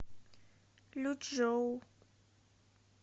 лючжоу